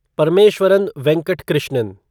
Parameswaran Venkat Krishnan